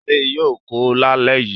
Ṣadé yóò kó lálẹ́ yìí.